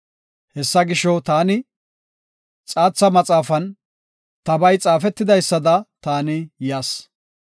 Hessa gisho taani, “Xaatha maxaafan tabay xaafetidaysada taani yas.